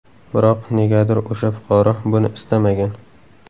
Biroq, negadir o‘sha fuqaro buni istamagan.